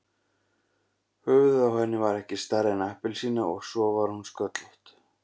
Höfuðið á henni var ekki stærra en appelsína og svo var hún sköllótt.